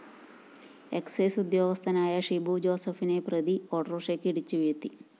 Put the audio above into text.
excise ഉദ്യോഗസ്ഥനായ ഷിബു ജോസഫിനെ പ്രതി ഓട്ടോറിക്ഷയ്ക്ക് ഇടിച്ചു വീഴ്ത്തി